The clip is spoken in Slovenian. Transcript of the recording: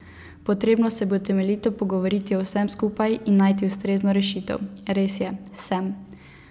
Potrebno se bo temeljito pogovoriti o vsem skupaj in najti ustrezno rešitev.